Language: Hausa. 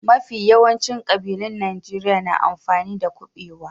Mafi yawancin kabilun Najeriya na amfani da kubewa.